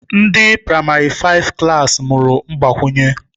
Ndi praịmarị faịfụ klassị mụrụ mgbakwụnye